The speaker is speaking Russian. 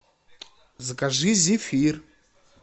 закажи зефир